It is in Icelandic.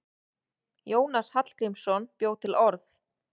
Jónas Hallgrímsson bjó til orð.